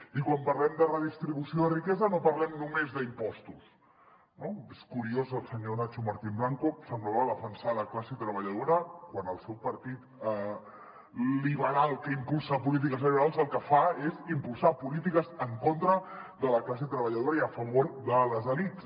i quan parlem de redistribució de riquesa no parlem només d’impostos no és cu·riós el senyor nacho martín blanco semblava defensar la classe treballadora quan el seu partit liberal que impulsa polítiques liberals el que fa és impulsar polítiques en contra de la classe treballadora i a favor de les elits